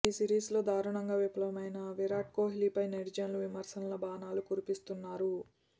ఈ సిరీస్లో దారుణంగా విఫలమైన విరాట్ కోహ్లీపై నెటిజన్లు విమర్శల బాణాలు కురిపిస్తున్నారు